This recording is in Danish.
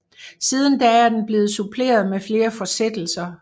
Siden da er den blevet suppleret med flere fortsættelser